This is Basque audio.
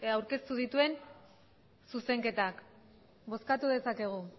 aurkeztu dituen zuzenketak bozkatu dezakegu